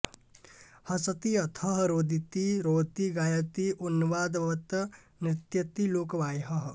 हसति अथः रोदिति रौति गायति उन्मादवत् नृत्यति लोकबाह्यः